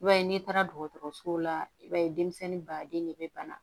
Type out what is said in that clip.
I b'a ye n'i taara dɔgɔtɔrɔso la i b'a ye denmisɛnnin baden de bɛ bana